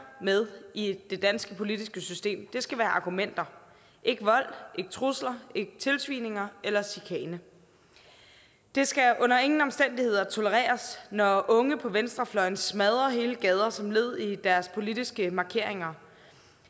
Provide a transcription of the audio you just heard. med i det danske politiske system skal være argumenter ikke vold ikke trusler ikke tilsvininger eller chikane det skal under ingen omstændigheder tolereres når unge på venstrefløjen smadrer hele gader som led i deres politiske markeringer